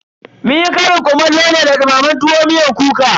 Munyi ƙarin kumallo ne da dumamen tuwon masara miyar kuka.